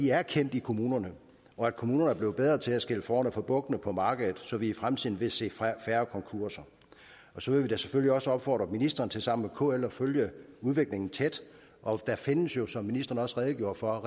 er kendt i kommunerne og at kommunerne er blevet bedre til at skille fårene fra bukkene på markedet så vi i fremtiden vil se færre konkurser så vil vi da selvfølgelig også opfordre ministeren til sammen med kl at følge udviklingen tæt og der findes jo som ministeren også redegjorde for